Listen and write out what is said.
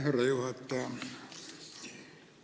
Härra juhataja!